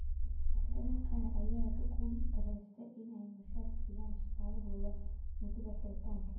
Shirkadaha qaar ayaa ku guul darreystay in ay mushaar siiyaan shaqaalahooda muddada xiritaanka.